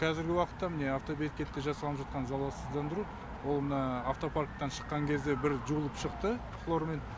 кәзіргі уақытта міне автобекетте жасалынып жатқан залалсыздандыру ол мына автопарктан шыққан кезде бір жуылып шықты хлормен